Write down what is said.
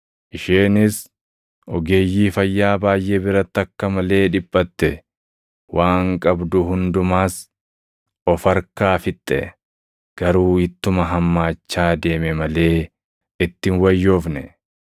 Isheenis ogeeyyii fayyaa baayʼee biratti akka malee dhiphatte; waan qabdu hundumas of harkaa fixxe; garuu ittuma hammaachaa deeme malee itti hin wayyoofne.